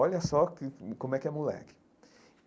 Olha só que como é que é moleque.